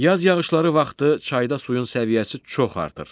Yaz yağışları vaxtı çayda suyun səviyyəsi çox artır.